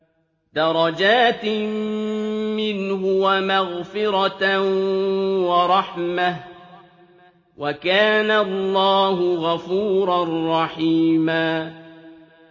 دَرَجَاتٍ مِّنْهُ وَمَغْفِرَةً وَرَحْمَةً ۚ وَكَانَ اللَّهُ غَفُورًا رَّحِيمًا